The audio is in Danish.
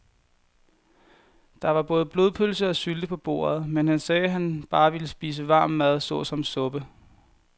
Der var både blodpølse og sylte på bordet, men han sagde, at han bare ville spise varm mad såsom suppe.